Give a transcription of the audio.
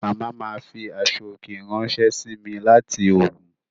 Màmá ma fi aṣọ òkè ráńṣẹ́ sí mi láti Ògùn